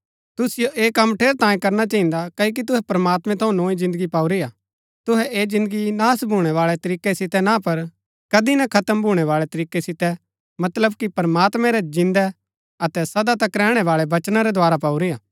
तुसिओ ऐह कम ठेरैतांये करना चहिन्दा क्ओकि तुहै प्रमात्मैं थऊँ नोई जिन्दगी पाऊरी हा तुहै ऐह जिन्दगी नाश भूणै बाळै तरीकै सितै ना पर कदी ना खत्म भूणै बाळै तरीकै सितै मतलब कि प्रमात्मैं रै जिन्दै अतै सदा तक रैहणै बाळै वचना रै द्धारा पाऊरी हा